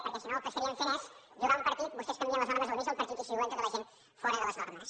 perquè si no el que estaríem fent és jugar un partit vostès canvien les normes al mig del partit i situen tota la gent fora de les normes